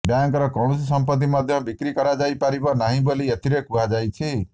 ବ୍ୟାଙ୍କର କୌଣସି ସମ୍ପତ୍ତି ମଧ୍ୟ ବିକ୍ରି କରାଯାଇପାରିବ ନାହିଁ ବୋଲି ଏଥିରେ କୁହାଯାଇଛି